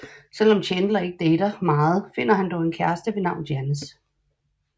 Selvom Chandler ikke dater meget finder han dog en kæreste ved navn Janice